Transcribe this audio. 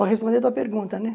Para responder a tua pergunta, né?